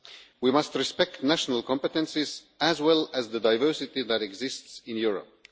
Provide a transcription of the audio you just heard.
We must respect national competences, as well as the diversity that exists in Europe.